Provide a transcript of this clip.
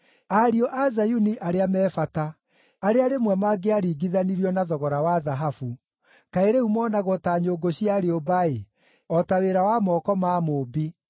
Ariũ a Zayuni arĩa me bata, arĩa rĩmwe mangĩaringithanirio na thogora wa thahabu, kaĩ rĩu moonagwo ta nyũngũ cia rĩũmba-ĩ, o ta wĩra wa moko ma mũũmbi!